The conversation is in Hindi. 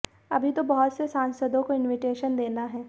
अभी तो बहुत से सांसदों को इनविटेशन देना है